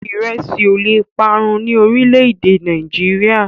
Ìrẹsí ò leè parun ní orílẹ̀-èdè Nàìjíríà.